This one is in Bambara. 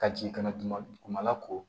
Ka jigin ka na duguma dugumala ko